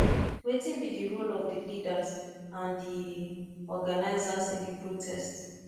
wetin be di role of di leaders and di organizers in di protest